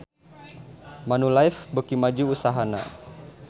Manulife beuki maju usahana